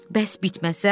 Bəs bitməsə?